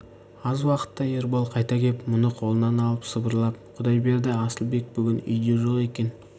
аз уақытта ербол қайта кеп мұны қолынан алып сыбырлап құдай берді асылбек бүгін үйде жоқ екен